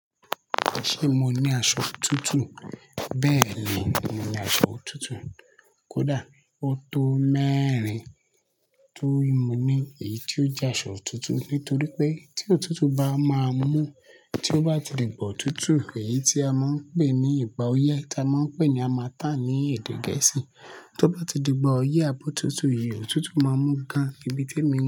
Ṣé mo ní aṣọ otutu? Bẹ́ẹ̀ni, mo ní aṣọ otutu. Kódà ọ tó mẹ́rin tì mo ní èyí tí ó jẹ́ aṣọ otutu nítorí pé tí òtútù bá máa mú tí ó bá ti di igba otutu èyí tí a máa ń pè ní igbá oyé tí a máa ń pè ní hamattan ní èdè Gẹ̀ẹ́sì tó bá ti di igba oyé abo otutu yìí òtútù máa mú gan ibi tí èmi.